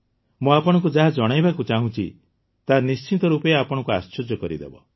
ମୁଁ ଆପଣଙ୍କୁ ଯାହା ଜଣାଇବାକୁ ଯାଉଛି ତାହା ନିଶ୍ଚିତ ରୂପେ ଆପଣଙ୍କୁ ଆଶ୍ଚର୍ଯ୍ୟ କରିଦେବ